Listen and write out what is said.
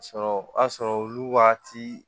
A sɔrɔ o y'a sɔrɔ olu waati